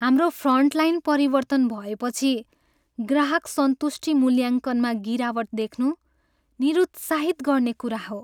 हाम्रो फ्रन्टलाइन परिवर्तन भएपछि ग्राहक सन्तुष्टि मूल्याङ्कनमा गिरावट देख्नु निरुत्साहित गर्ने कुरा हो।